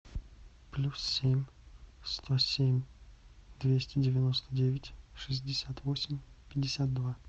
плюс семь сто семь двести девяносто девять шестьдесят восемь пятьдесят два